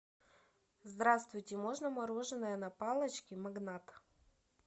здравствуйте можно мороженое на палочке магнат